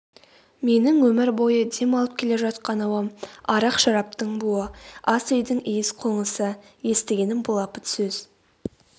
менің өмір бойы дем алып келе жатқан ауам арақ-шараптың буы ас үйдің иіс-қоңысы естігенім былапыт сөз